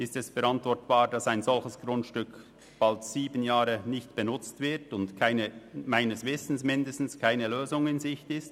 Ist es verantwortbar, dass ein solches Grundstück seit bald sieben Jahren nicht benutzt wird und meines Wissens keine Lösung in Sicht ist?